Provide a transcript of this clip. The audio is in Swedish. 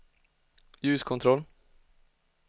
ljuskontroll